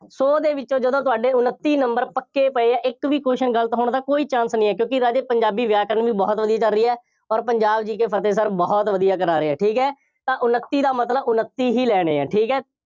ਸੌ ਦੇ ਵਿੱਚੋਂ, ਜਦੋਂ ਤੁਹਾਡੇ ਉਨੱਤੀ number ਪੱਕੇ ਪਏ ਆ, ਇੱਕ ਵੀ question ਗਲਤ ਹੋਣ ਦਾ ਕੋਈ chance ਨਹੀਂ ਹੈ, ਕਿਉਂਕਿ ਰਾਜੇ ਪੰਜਾਬੀ ਵਿਆਕਰਣ ਵੀ ਬਹੁਤ ਵਧੀਆ ਚੱਲ ਰਹੀ ਹੈ ਅੋਰ ਪੰਜਾਬ GK ਫਤਹਿ sir ਬਹੁਤ ਵਧੀਆ ਕਰਾ ਰਹੇ ਆ, ਠੀਕ ਹੈ, ਤਾਂ ਉਨੱਤੀ ਦਾ ਮਤਲਬ ਉਨੱਤੀ ਹੀ ਲੈਣੇ ਆ, ਠੀਕ ਹੈ।